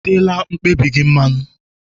I teela mkpabi gị mmanụ?